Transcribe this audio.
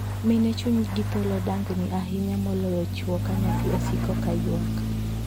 Mine chunygi thoro dang'ni ahinya moloyo chwo ka nyathi osiko ka yuak.